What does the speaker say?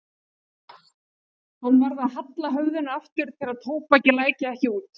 Hann varð að halla höfðinu aftur til að tóbakið læki ekki út.